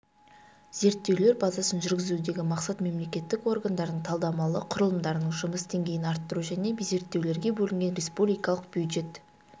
зерттеулер базасын жүргізудегі мақсат мемлекеттік органдардың талдамалы құрылымдарының жұмыс деңгейін арттыру және зерттеулерге бөлінген республикалық бюджет